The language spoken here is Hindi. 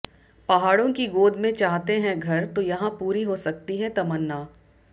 पहाड़ों की गोद में चाहते हैं घर तो यहां पूरी हो सकती है तमन्ना